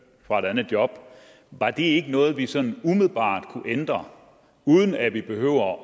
fra et andet job var det ikke noget vi sådan umiddelbart kunne ændre uden at vi behøver at